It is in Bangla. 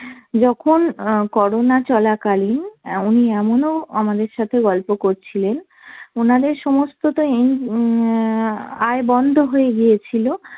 যখন অ্যাঁ করোনা চলাকালীন অ্যাঁ উনি এমনও আমাদের সাথে গল্প করছিলেন ওনাদের সমস্ত অ্যাঁ আয় বন্ধ হয়ে গিয়েছিল,